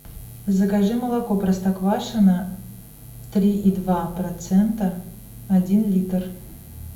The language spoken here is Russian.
закажи молоко простоквашино три и два процента один литр